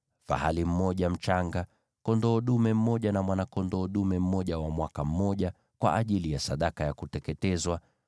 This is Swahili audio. fahali mmoja mchanga, kondoo dume mmoja na mwana-kondoo dume mmoja wa mwaka mmoja, kwa ajili ya sadaka ya kuteketezwa;